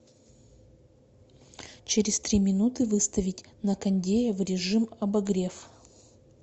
через три минуты выставить на кондее в режим обогрев